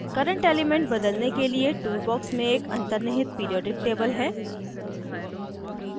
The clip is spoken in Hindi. current element बदलने के लिए tool box में एक अंतनिर्हित periodic table है